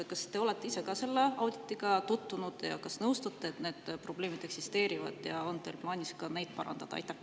Kas te olete ise ka selle auditiga tutvunud ja kas nõustute, et need probleemid eksisteerivad, ja on teil plaanis ka neid parandada?